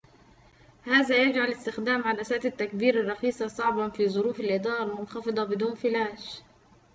هذا يجعلُ استخدامَ عدساتِ التّكبيرِ الرخيصةِ صعبًا في ظروفِ الإضاءةِ المنخفضةِ بدون فلاش